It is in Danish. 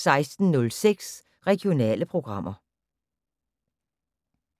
16:06: Regionale programmer